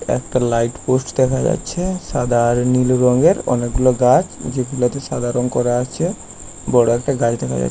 একটা light post দেখা যাচ্ছে সাদা আর নীল রঙের অনেকগুলো গাছ যেগুলোতে সাদা রং করা আছে বড় একটা গাছ দেখা যাচ্ছে।